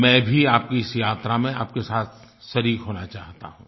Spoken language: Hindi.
मैं भी आपकी इस यात्रा में आपके साथ शरीक होना चाहता हूँ